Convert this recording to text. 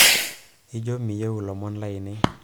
ijo miyieu lomon lainei